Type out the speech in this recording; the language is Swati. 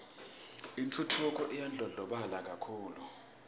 intfutfuko iyandlondlobala kakhulu